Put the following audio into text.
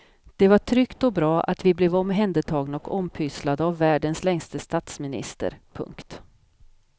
Det var tryggt och bra och vi blev omhändertagna och ompysslade av världens längste statsminister. punkt